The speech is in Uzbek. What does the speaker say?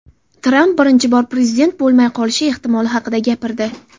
Tramp birinchi bor prezident bo‘lmay qolishi ehtimoli haqida gapirdi.